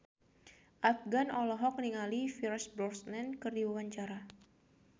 Afgan olohok ningali Pierce Brosnan keur diwawancara